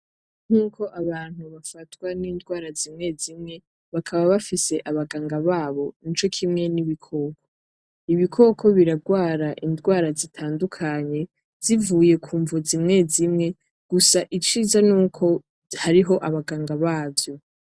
Nkuko abantu bafatwa n'ingwara zimwe zimwe bakaba bafise abaganga babo nico kimwe nk'ibikoko. Ibikoko birarwara indwara zitandukanye zivuye ku mvu zimwe zimwe, gusa iciza nuko hariho abaganga bavyo.